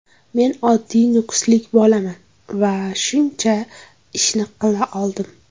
Men oddiy nukuslik bolaman va shuncha ishni qila oldim.